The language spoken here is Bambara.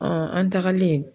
an tagalen.